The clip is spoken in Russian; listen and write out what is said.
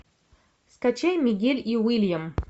скачай мигель и уильям